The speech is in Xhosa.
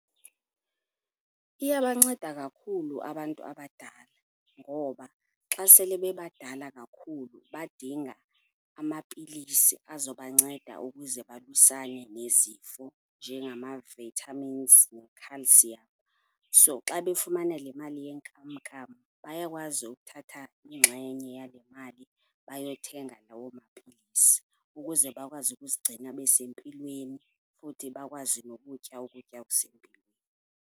Iyabanceda kakhulu abantu abadala ngoba xa sele bebadala kakhulu badinga amapilisi azobanceda ukuze balwisane nezifo, njengama-vitamins ne-calcium. So xa befumana le mali yenkamnkam bayakwazi ukuthatha ingxenye yale mali bayothenga lawo mapilisi ukuze bakwazi ukuzigcina besempilweni futhi bakwazi nokutya ukutya okusempilweni.